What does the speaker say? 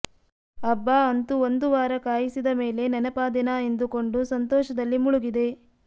ಅಬ್ಬಾ ಅಂತೂ ಒಂದು ವಾರ ಕಾಯಿಸಿದ ಮೇಲೆ ನೆನಪಾದೆನ ಎಂದುಕೊಂಡು ಸಂತೋಷದಲ್ಲಿ ಮುಳುಗಿದೆ